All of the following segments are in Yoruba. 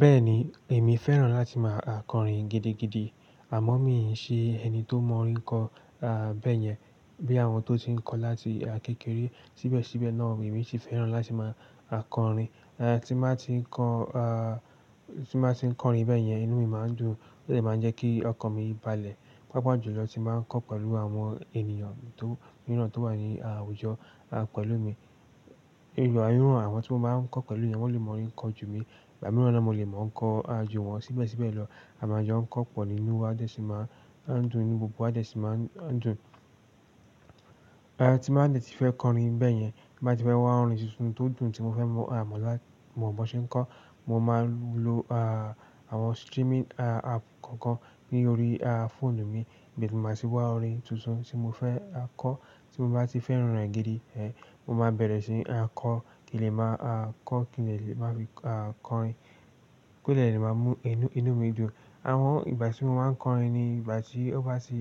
Bẹ́ẹ̀ni, èmi fẹ́ràn láti máa kọrin gidigidi àmọ́ mi i ṣe ẹni tó mọ orin kọ bẹ́yẹn bí àwọn tó ti ń kọ láti kékeré síbẹ̀síbẹ̀ náà. Emi si fẹ́ràn láti máa kọrin, tin ba tin ko ti n ba ti n kọrin bẹ́yẹn inú mi máa n dùn o de máa n je ki ọkàn mi balẹ̀ pápá jùlọ tí bá ń kọ pẹ̀lú àwọn ènìyàn mìíràn tó wà ní àwùjọ pẹ̀lú mi. Ìgbà mìíràn àwọn tí mo bá ń kọ pẹ̀lú wọn lè mọ orin kọ jù mí, ìgbà mìíràn na mo lè mọ̀ ń kọ ju wọn síbẹ̀síbẹ̀ lọ àmájọ ń kọ pọ̀ ní inú wa á dẹ̀ sì máa ń dùn, inú gbogbo wa a dẹ̀ sì máa ń dùn. Ti bá dẹ̀ ti fẹ́ kọrin bẹ́yẹn, ti bá ti fẹ́ wá orin tuntun tó dùn tí mo fẹ́ mọ mọ́ lá, mọ̀ bọ̀n ṣẹ́ ń kọ, mo máa ń lo àwọn streaming app kọ̀ọ̀kan ní orí fóònù mi ibe ni ma ti wa orin tuntun tí mo fẹ́ kọ. Tí mo bá ti fẹ́ràn rẹ̀ gidi, mo máa bẹ̀rẹ̀ síi kọ kí lè máa kọ, kí lè lè máa fi kọrin, ko dè lè máa mú inú mi dùn. Àwọn ìgbà tí mo máa ń kọrin ni ìgbà tí ó bá ti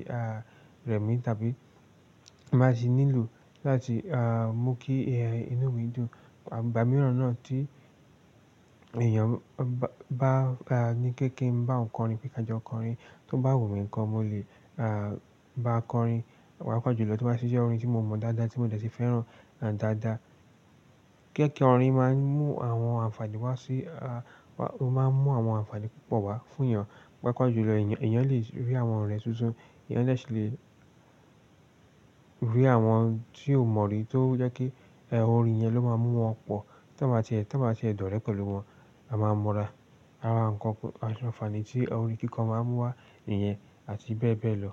remí tàbí ti n ba ti nílò láti mú kí inú mi dùn. Ìgbà mìíràn náà tí èèyàn bá ní kéékèé ń bá òun kọrin pé ka jọ kọrin, tó bá wù mí ńkọ mo lè bá a kọrin. Papa jùlọ tí ó bá sì jẹ́ orin tí mo mọ̀ dáadáa tí mo dẹ̀ ti fẹ́ràn dáadáa. Kéékèé orin máa ń mú àwọn àǹfààní wá sí, ó máa ń mú àwọn àǹfààní púpọ̀ wá fún èèyàn. Pápá jùlọ èèyàn lè rí àwọn ọ̀rẹ́ tuntun, èèyàn de sì le rí àwọn tí ò mọ̀ rí tó jẹ́ kí orin yẹn ló máa mú wọn pọ̀. Tí wọ́n bá ti ẹ̀dọ̀rẹ́ pẹ̀lú wọn, a máa ń múra. Ara nkan àti àǹfààní tí orin kíkọ máa ń mú wá ìyẹn àti bẹ́ẹ̀ bẹ́ẹ̀ lọ.